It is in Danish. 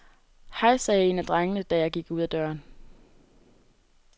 Hej sagde en af drengene, da jeg gik ud af døren.